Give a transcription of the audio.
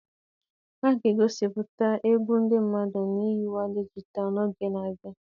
A ga-egosipụta egwu ndị mmadụ na nyiwe dijitalụ n'oge na-abịa.